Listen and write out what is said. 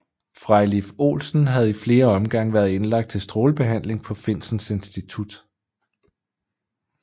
Frejlif Olsen havde i flere omgange været indlagt til strålebehandling på Finsens Institut